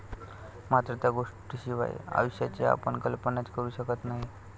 मात्र, त्या गोष्टींशिवाय आयुष्याची आपण कल्पनाच करू शकत नाही.